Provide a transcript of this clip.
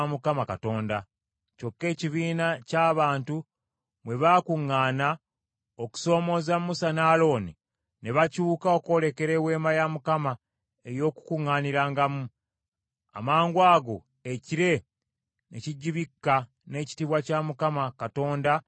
Kyokka ekibiina ky’abantu bwe baakuŋŋaana okusoomooza Musa ne Alooni ne bakyuka okwolekera Eweema ey’Okukuŋŋaanirangamu, amangwago ekire ne kigibikka n’ekitiibwa kya Mukama Katonda ne kyeyoleka.